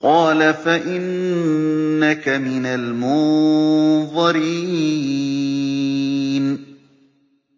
قَالَ فَإِنَّكَ مِنَ الْمُنظَرِينَ